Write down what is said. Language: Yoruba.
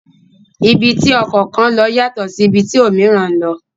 Ibi tí ọkọ̀ kan lọ yàtọ̀ sí ibi tí òmííràn ń lọ.